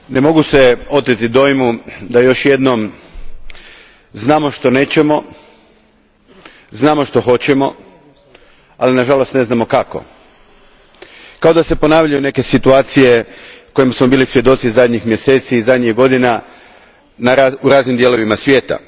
Gospodine predsjedniče, ne mogu se oteti dojmu da još jednom znamo što nećemo, znamo što hoćemo, ali nažalost ne znamo kako. Kao da se ponavljaju neke situacije kojima smo bili svjedoci zadnjih mjeseci i zadnjih godina u raznim dijelovima svijeta.